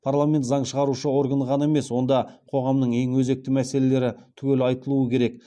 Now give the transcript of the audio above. парламент заң шығарушы орган ғана емес онда қоғамның ең өзекті мәселелері түгел айтылуы керек